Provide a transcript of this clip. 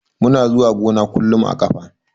Muna zuwa gona kullun a ƙafa.